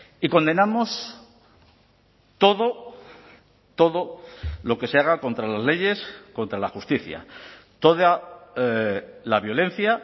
y condenamos todo todo lo que se haga contra las leyes contra la justicia toda la violencia